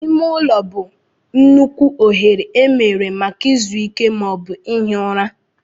Ime ụlọ bụ nnukwu oghere emere maka izu ike ma ọ bụ ihi ụra.